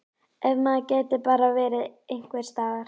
Ef maður gæti bara verið einhvers staðar.